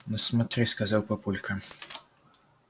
ну смотри сказал папулька